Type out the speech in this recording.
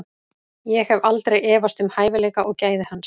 Ég hef aldrei efast um hæfileika og gæði hans.